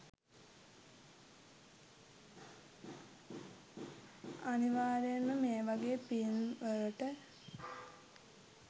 අනිවාරෙන්ම මේ වගේ ෆිල්ම් වලට